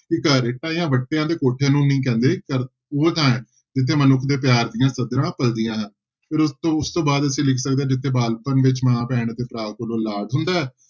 ਕਿ ਘਰ ਰੇਤਾ ਜਾਂ ਵੱਟਿਆਂ ਦੇ ਕੋਠਿਆਂ ਨੂੰ ਨਹੀਂ ਕਹਿੰਦੇ, ਘਰ ਉਹ ਥਾਂ ਹੈ ਜਿੱਥੇ ਮਨੁੱਖ ਦੇ ਪਿਆਰ ਦੀਆਂ ਸਧਰਾਂ ਪਲਦੀਆਂ ਹਨ, ਫਿਰ ਉਸ ਤੋਂ ਉਸ ਤੋਂ ਬਾਅਦ ਅਸੀਂ ਲਿਖ ਸਕਦੇ ਹਾਂ ਜਿੱਥੇ ਬਾਲਪਨ ਵਿਚ ਮਾਂ ਭੈਣ ਤੇ ਭਰਾ ਕੋਲੋਂ ਲਾਡ ਹੁੰਦਾ ਹੈ,